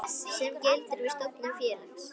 sem gildir við stofnun félags.